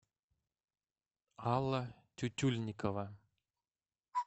алла тютюльникова